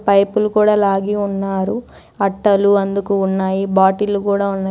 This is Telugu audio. పైపులు కూడా లాగి ఉన్నారు అట్టలు అందుకు ఉన్నాయి బాటిల్లు గూడ ఉన్నా--